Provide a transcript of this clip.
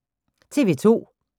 TV 2